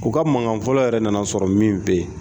U ka mankan fɔlɔ yɛrɛ nana sɔrɔ min bɛ yen